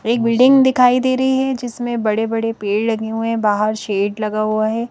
एक बिल्डिंग दिखाई दे रही है जिसमें बड़े बड़े पेड़ लगे हुए है बाहार शेड लगा हुआ है।